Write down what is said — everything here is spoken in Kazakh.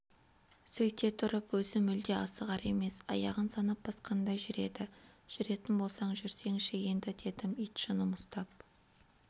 сөйте тұрып өзі мүлде асығар емес аяғын санап басқандай жүреді жүретін болсаң жүрсеңші енді дедім ит жыным ұстап